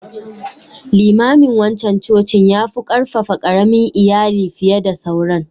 Limamin wancan cocin yafu ƙarfafa ƙaramin Iyali fiye da sauran.